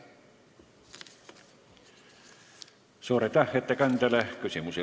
Suur aitäh ettekandjale!